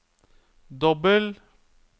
dobbel